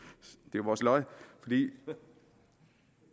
jo vores lod for